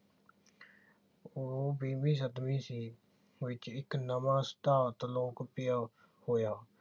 ਉਹ ਵੀਹਵੀਂ ਸਦਵੀ ਸੀ ਵਿਚ ਇਕ ਨਵਾਂ ਸਿਧਾਂਤ ਲੋਕਪ੍ਰਿਯ ਹੋਇਆ।